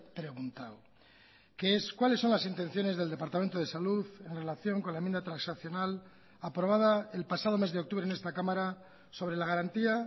preguntado que es cuáles son las intenciones del departamento de salud en relación con la enmienda transaccional aprobada el pasado mes de octubre en esta cámara sobre la garantía